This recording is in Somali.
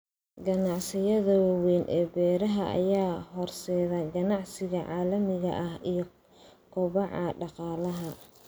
Ganacsiyada waaweyn ee beeraha ayaa horseeda ganacsiga caalamiga ah iyo kobaca dhaqaalaha.